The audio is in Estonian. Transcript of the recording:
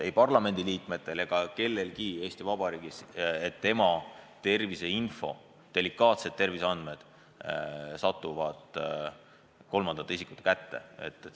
Ei parlamendiliikmetel ega kellelgi teisel Eesti Vabariigis ei tohi olla kahtlust, et tema terviseinfo, tema delikaatsed terviseandmed satuvad kolmandate isikute kätte.